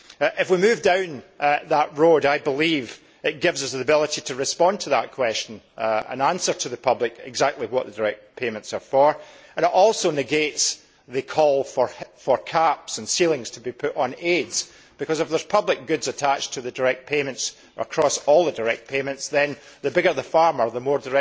If we move down that road, I believe it gives us the ability to respond to that question and explain to the public exactly what direct payments are for. It also negates the call for caps and ceilings to be put on aids because, if there are public goods attached to the direct payments across all the direct payments, then the bigger the farmer, the